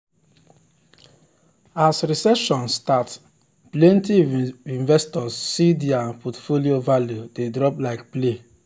as recession start plenty investors see dir portfolio value de drop like play